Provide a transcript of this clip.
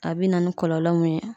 A be na ni kɔlɔlɔ mun ye